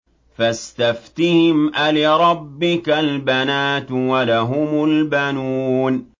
فَاسْتَفْتِهِمْ أَلِرَبِّكَ الْبَنَاتُ وَلَهُمُ الْبَنُونَ